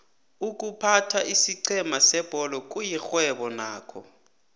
iykuphatha isiqhema sebholo kuyixhwebo nakho